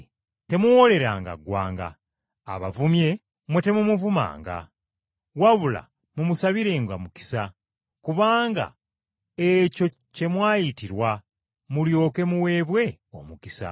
Temuwooleranga ggwanga. Abavumye, mmwe temumuvumanga. Wabula mumusabirenga mukisa, kubanga ekyo kye mwayitirwa, mulyoke muweebwe omukisa.